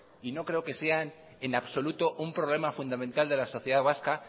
y no creo que sean en absoluto un problema fundamental de la sociedad vasca